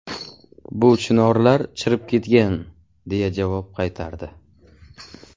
Bu chinorlar chirib ketgan’, deya javob qaytardi.